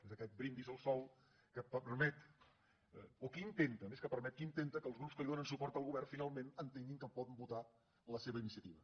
és aquest brindis al sol que permet o que intenta més que permet que intenta que els grups que donen suport al govern finalment entenguin que poden votar la seva iniciativa